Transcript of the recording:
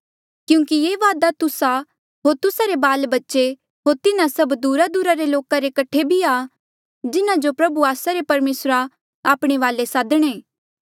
क्यूंकि ये वादा तुस्सा होर तुस्सा रे बाल बच्चे होर तिन्हा सभ दूरादूरा रे लोका रे कठे भी आ जिन्हा जो प्रभु आस्सा रे परमेसरा आपणे वाले सादणे